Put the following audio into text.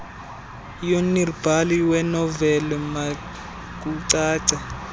yornbhali wenoveli makucace